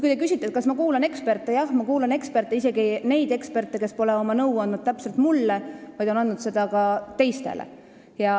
Te küsisite, kas ma kuulan eksperte, Jah, ma kuulan eksperte, isegi neid eksperte, kes pole nõu andnud just täpselt mulle, vaid ka teistele.